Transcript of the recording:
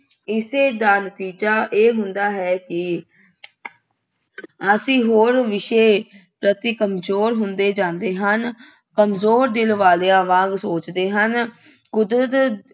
ਇਸੇ ਦਾ ਨਤੀਜਾ ਇਹ ਹੁੰਦਾ ਹੈ ਕਿ ਅਸੀਂ ਹੋਰ ਵਿਸ਼ੇ ਪ੍ਰਤੀ ਕਮਜ਼ੋਰ ਹੁੰਦੇ ਜਾਂਦੇ ਹਨ। ਕਮਜ਼ੋਰ ਦਿਲ ਵਾਲਿਆਂ ਵਾਂਗ ਸੋਚਦੇ ਹਨ। ਕੁਦਰਤ